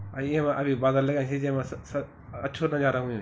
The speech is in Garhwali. अर येबा अबि बगल सी जेमा स अच्छू नजारा हुयु च ।